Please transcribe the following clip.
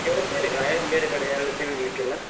ನೀವ್ ಹೋಗ್ತೀರಾ ಈಗ ಬೇರೆ ಕಡೆ ಎಲ್ಲ ತಿರ್ಗ್ಲಿಕ್ಕೆ ಎಲ್ಲ?